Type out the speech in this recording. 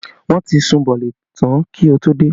Wọn ti sun bọ̀ọ̀lì tán kí n tó dé